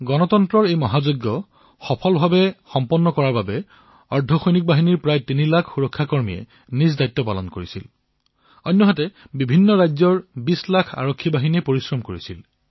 গণতন্ত্ৰ এই মহাযজ্ঞক সাফল্যমণ্ডিত কৰি তোলাৰ বাবে যত অৰ্ধসৈনিক বাহিনীৰ প্ৰায় ৩ লাখ সুৰক্ষাকৰ্মীয়ে নিজৰ দায়িত্ব পালন কৰিলে বিভিন্ন ৰাজ্যৰ ২০ লাখ আৰক্ষীয়েও পৰিশ্ৰম কৰিলে